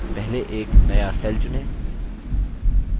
पहले एक नया cell चुनें